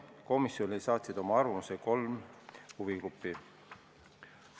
Komisjonile saatsid oma arvamuse kolm huvigruppi.